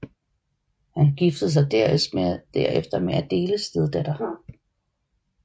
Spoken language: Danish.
Han giftede sig derefter med Adéles stedatter